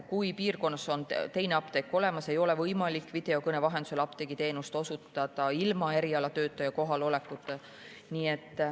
Kui piirkonnas on teine apteek olemas, ei ole võimalik videokõne vahendusel apteegiteenust osutada ilma erialatöötaja kohalolekuta.